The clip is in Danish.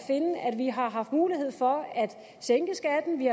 at finde at vi har haft mulighed for at sænke skatten vi